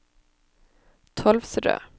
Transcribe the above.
Tolvsrød